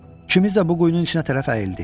İkimiz də bu quyunun içinə tərəf əyildik.